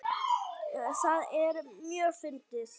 Það er mjög fyndið.